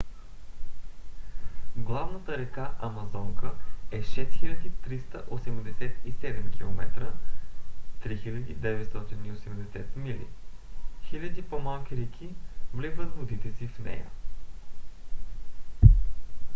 главната река амазонка е 6387 км 3980 мили. хиляди по-малки реки вливат водите си в нея